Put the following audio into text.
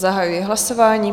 Zahajuji hlasování.